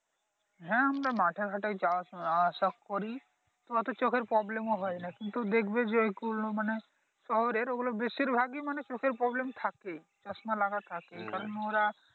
হ্যাঁ আমরা মাঠে ঘাটে যাওয়া আস আসা করি তো এতো চোখের প্রব্লেম ও হয় নাহ কিন্তু দেখবে যে যেগুলো মানে শহরের ঐগুলো বেশিরভাগই মানি চোখের Problem থাকেই চশমা লাগা থাকে